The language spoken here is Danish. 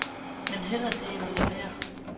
Men hellere det end helt at lade være.